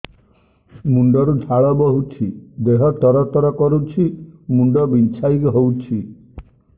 ମୁଣ୍ଡ ରୁ ଝାଳ ବହୁଛି ଦେହ ତର ତର କରୁଛି ମୁଣ୍ଡ ବିଞ୍ଛାଇ ହଉଛି